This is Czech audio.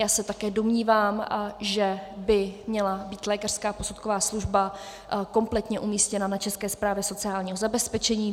Já se také domnívám, že by měla být lékařská posudková služba kompletně umístěna na České správě sociálního zabezpečení.